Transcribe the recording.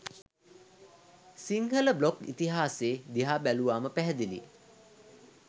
Sinhala blog ඉතිහාසෙ දිහා බැලුවාම පැහැදිළියි.